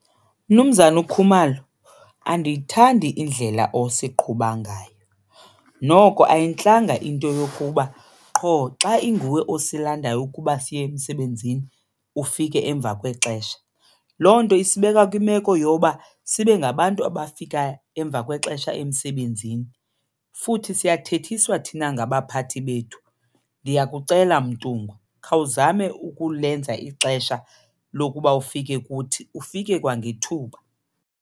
Mnumzana uKhumalo andiyithandi indlela osiqhuba ngayo. Noko ayintlanga into yokuba qho xa inguwe osilandayo ukuba siye emsebenzini ufike emva kwexesha. Loo nto isibeka kwimeko yoba sibe ngabantu abafika emva kwexesha emsebenzini futhi siyathethiswa thina ngabaphathi bethu. Ndiyakucela Mtungwa, khawuzame ukulenza ixesha lokuba ufike kuthi, ufike kwangethuba.